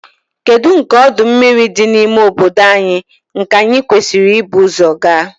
Kedu nke ọdụ mmiri dị n'ime obodo anyị nke anyị kwesịrị ibu ụzọ gaa?